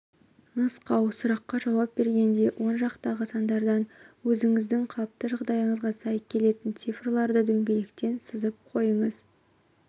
нұсқау сұраққа жауап бергенде он жақтағы сандардан өзіңіздің қалыпты жағдайыңызға сай келетін цифрларды дөңгелектен сызып қойыңыз